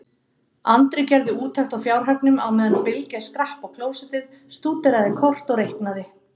Andri gerði úttekt á fjárhagnum á meðan Bylgja skrapp á klósettið, stúderaði kort og reiknaði.